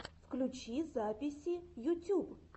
включи записи ютюб